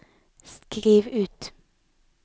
skriv ut